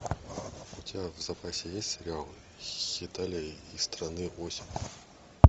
у тебя в запасе есть сериал хеталия и страны оси